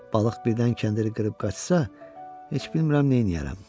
Balıq birdən kəndiri qırıb qaçsa, heç bilmirəm neyləyərəm.